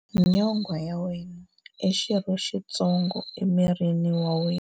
Nyonghwa ya wena i xirho xitsongo emirini wa wena.